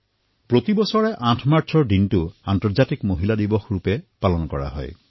প্ৰত্যেক বৰ্ষতে ৮ মাৰ্চৰ দিনা আন্তঃৰাষ্ট্ৰীয় মহিলা দিৱস অনুষ্ঠিত কৰা হয়